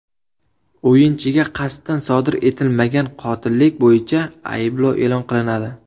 O‘yinchiga qasddan sodir etilmagan qotillik bo‘yicha ayblov e’lon qilinadi.